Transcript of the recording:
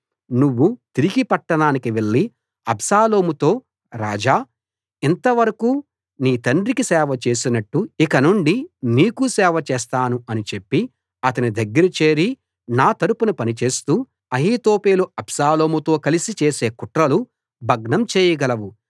నువ్వు తిరిగి పట్టణానికి వెళ్లి అబ్షాలోముతో రాజా ఇంతవరకూ నీ తండ్రికి సేవచేసినట్టు ఇకనుండి నీకూ సేవ చేస్తాను అని చెప్పి అతని దగ్గర చేరి నా తరపున పనిచేస్తూ అహీతోపెలు అబ్షాలోముతో కలసి చేసే కుట్రలు భగ్నం చేయగలవు